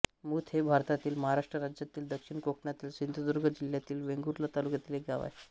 Muth हे भारतातील महाराष्ट्र राज्यातील दक्षिण कोकणातील सिंधुदुर्ग जिल्ह्यातील वेंगुर्ला तालुक्यातील एक गाव आहे